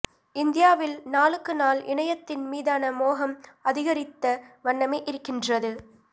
இந்தியாவில் நாளுக்கு நாள் இணையத்தின்மீதான மோகம் அதிகரித்த வண்ணமே இருக்கின்றது